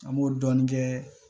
An b'o dɔɔnin kɛ